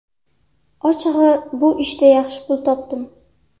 Ochig‘i, bu ishda yaxshi pul topdim.